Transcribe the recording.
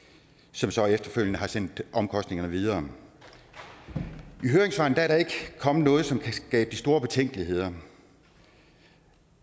som så efterfølgende har sendt omkostningerne videre i høringssvarene er der ikke kommet noget som kan skabe de store betænkeligheder